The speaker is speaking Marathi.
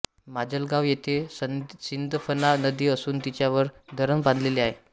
माजलगाव येथें सिंदफणा नदी असून तिच्यावर धरण बांधलेले आहे